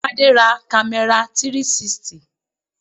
Tade ra camera 360.